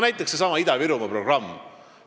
Näiteks seesama Ida-Virumaa programm.